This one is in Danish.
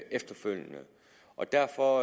efterfølgende er derfor